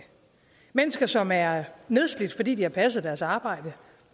mennesker som er nedslidt fordi de har passet deres arbejde